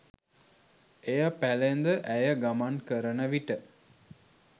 එය පැළැඳ ඇය ගමන් කරන විට